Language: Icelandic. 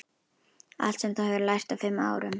Allt sem þú hefur lært á fimm árum.